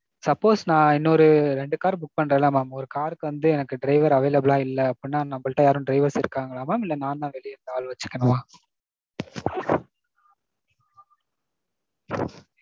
suppose நான் இன்னோரு ரெண்டு car book பண்றே இல்ல mam. ஒரு car க்கு வந்து எனக்கு driver available ஆ இல்ல அப்படினா நம்பள்ட்ட யாரும் drivers இருக்காங்களா mam இல்ல நான் தான் வெளிய இருந்து ஆள் வச்சுக்கணுமா?